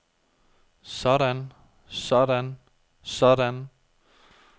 sådan sådan sådan